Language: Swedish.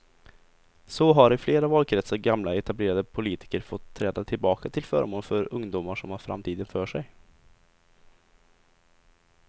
Så har i flera valkretsar gamla etablerade politiker fått träda tillbaka till förmån för ungdomar som har framtiden för sig.